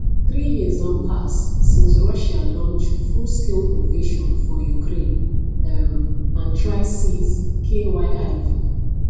three years don pass since russia launch fullscale invasion for ukraine um and try seize kyiv